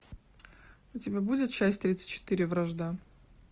у тебя будет часть тридцать четыре вражда